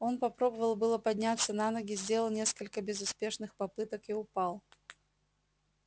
он попробовал было подняться на ноги сделал несколько безуспешных попыток и упал